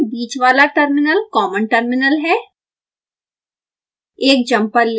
प्रत्येक साइड बीच वाला टर्मिनल कॉमन टर्मिनल है